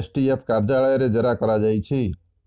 STF କାର୍ଯ୍ୟାଳୟରେ ଜେରା କରାଯାଇଛି